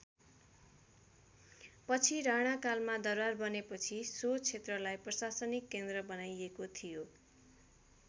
पछि राणाकालमा दरबार बनेपछि सो क्षेत्रको प्रसाशनिक केन्द्र बनाइएको थियो।